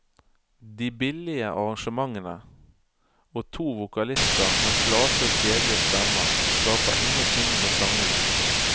De billige arrangementene og to vokalister med flate og kjedelige stemmer skaper ingenting ved sangene.